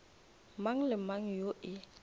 mang le mang yo e